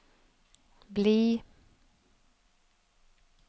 bli